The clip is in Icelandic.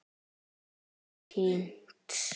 Hann týnst?